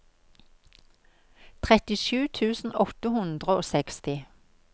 trettisju tusen åtte hundre og seksti